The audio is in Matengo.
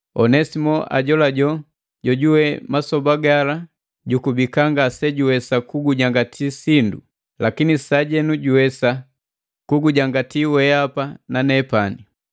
Onesimo ajolajola jojuwe masoba gala jukubika ngasejuwesa kugujangati sindu, lakini sajenu juwesa kugujangati weapa na nepani.